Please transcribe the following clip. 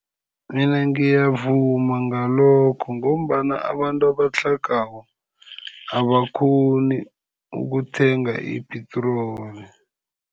Mina ngiyavuma ngalokho ngombana abantu abatlhagako abakghoni ukuthenga ipetroli.